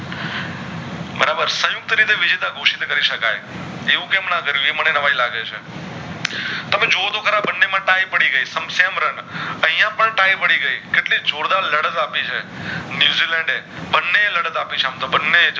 એવું કેમ ના કરિયું એ મને નવાય લાગે છે તમે જોવો તો ખરા બને માં ty પડી ગય છે sem run અયા પણ ty પડી ગયા કેટલી જોરદાર લડત આપી છે ન્યૂઝીલેન્ડ એ બને એ લડત આપી છે આમ તો બને એ